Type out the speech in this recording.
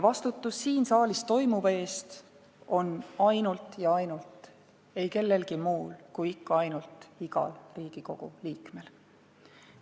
Vastutus siin saalis toimuva eest on aga ainult ja ainult ei kellelgi muul kui igal Riigikogu liikmel.